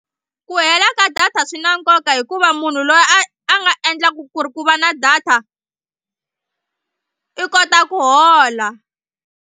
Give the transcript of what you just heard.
Ku hela ka data swi na nkoka hikuva munhu loyi a a nga endlaka ku ri ku va na data i kota ku hola.